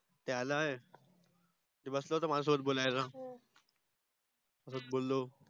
ते आल आहे ते बसल होत माझ्यसोबत बोलायला